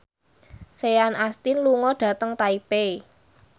Sean Astin lunga dhateng Taipei